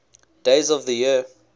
days of the year